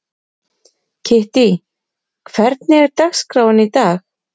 Kittý, hvernig er dagskráin í dag?